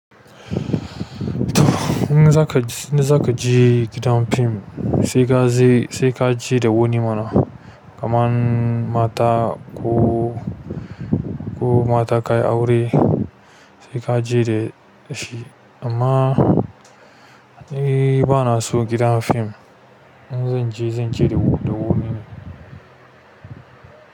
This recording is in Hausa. In zakaje gidan film sai kaje da wani mana kaman mata ko, ko mata ka yi aure sai ka je da shi. Amma ni bana son gidan film. In zan je, zan je da wani ne.